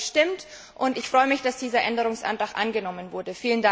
Dafür habe ich gestimmt, und ich freue mich, dass dieser Änderungsantrag angenommen wurde.